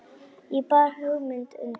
Ég bar hugmynd undir